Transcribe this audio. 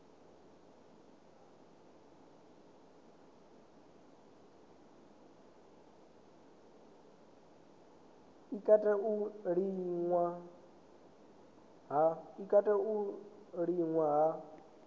i katela u liṅwa ha